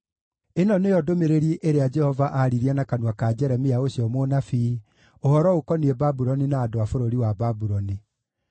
Ĩno nĩyo ndũmĩrĩri ĩrĩa Jehova aaririe na kanua ka Jeremia ũcio mũnabii, ũhoro ũkoniĩ Babuloni na andũ a bũrũri wa Babuloni: